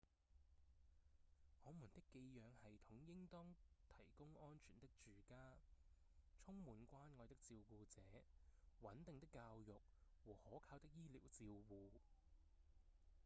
我們的寄養系統應當提供安全的住家、充滿關愛的照顧者、穩定的教育和可靠的醫療照護